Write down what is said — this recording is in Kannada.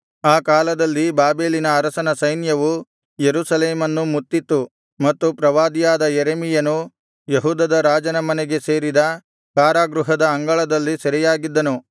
ಆ ಕಾಲದಲ್ಲಿ ಬಾಬೆಲಿನ ಅರಸನ ಸೈನ್ಯವು ಯೆರೂಸಲೇಮನ್ನು ಮುತ್ತಿತು ಮತ್ತು ಪ್ರವಾದಿಯಾದ ಯೆರೆಮೀಯನು ಯೆಹೂದದ ರಾಜನ ಮನೆಗೆ ಸೇರಿದ ಕಾರಾಗೃಹದ ಅಂಗಳದಲ್ಲಿ ಸೆರೆಯಾಗಿದ್ದನು